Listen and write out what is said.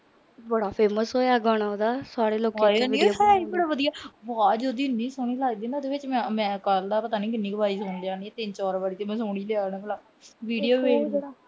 ਬੜਾ famous ਹੋਇਆ ਗਾਣਾ ਉਹਦਾ। ਸਾਰੇ ਲੋਕ ਆਵਾਜ ਉਹਦੀ ਇੰਨੀ ਸੋਹਣੀ ਲੱਗਦੀ ਆ ਨਾ ਉਹਦੇ ਚ ਮੈਂ ਕੱਲ੍ਹ ਦਾ ਪਤਾ ਨੀ ਕਿੰਨੀ ਵਾਰ ਸੁਣ ਲਿਆ। ਤਿੰਨ-ਚਾਰ ਵਾਰ ਤਾਂ video